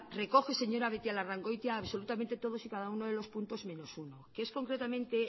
recoge señora beitialarrangoitia absolutamente todos y cada uno de los puntos menos uno que es concretamente